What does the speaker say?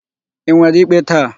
Ị nwere ikpe taa?